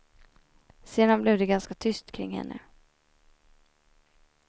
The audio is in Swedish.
Sedan blev det ganska tyst kring henne.